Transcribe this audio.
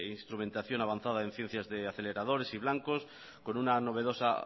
instrumentación avanzada en ciencias de aceleradores y blancos con una novedosa